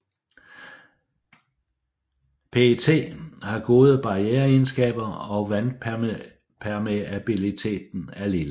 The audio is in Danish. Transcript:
PET har gode barriereegenskaber og vandpermeabiliteten er lille